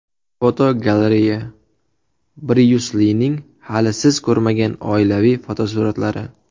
Fotogalereya: Bryus Lining hali siz ko‘rmagan oilaviy fotosuratlari.